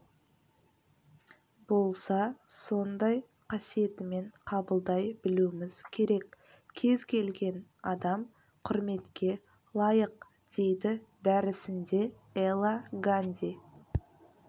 болса сондай қасиетімен қабылдай білуіміз керек кез келген адам құрметке лайық дейді дәрісінде эла ганди